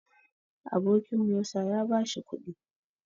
Abokin Musa ya bashi kuɗi